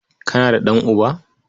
Kana da ɗan'uba?